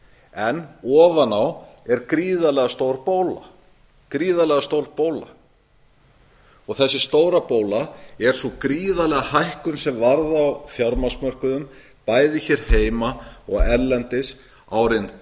en ofan á er gríðarlega stór bóla þessi stóra bóla er sú gríðarlega hækkun sem varð á fjármagnsmörkuðum bæði hér heima og erlendis árin tvö þúsund og fimm